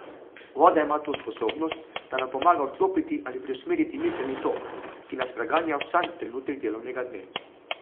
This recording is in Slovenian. Voda ima to sposobnost, da nam pomaga odklopiti ali preusmeriti miselni tok, ki nas preganja vsak trenutek delovnega dne.